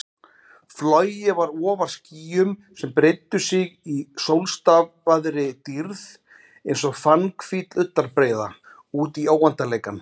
Flogið var ofar skýjum sem breiddu sig í sólstafaðri dýrð einsog fannhvít ullarbreiða útí óendanleikann.